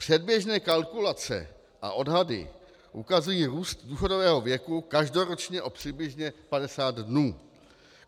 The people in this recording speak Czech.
Předběžné kalkulace a odhady ukazují růst důchodového věku každoročně o přibližně 50 dnů.